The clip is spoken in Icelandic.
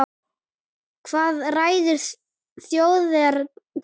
Hvað ræður þjóðerni þeirra?